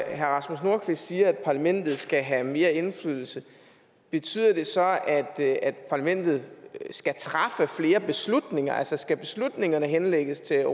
herre rasmus nordqvist siger at parlamentet skal have mere indflydelse betyder det så at parlamentet skal træffe flere beslutninger altså skal beslutningerne henlægges til